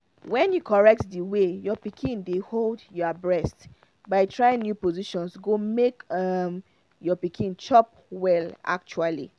when you correct the way your pikin dey hold your breast by trying new positions go make your pikin chop well actually